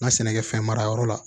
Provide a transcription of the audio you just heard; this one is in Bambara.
N ka sɛnɛkɛfɛn mara yɔrɔ la